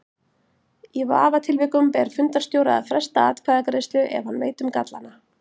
Í vafatilvikum ber fundarstjóra að fresta atkvæðagreiðslu ef hann veit um gallana.